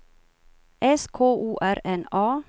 S K O R N A